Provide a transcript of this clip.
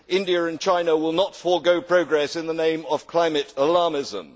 India and China will not forego progress in the name of climate alarmism.